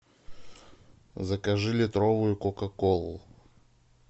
закажи литровую кока колу